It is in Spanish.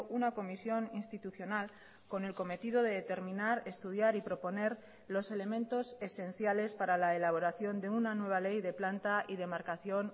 una comisión institucional con el cometido de determinar estudiar y proponer los elementos esenciales para la elaboración de una nueva ley de planta y demarcación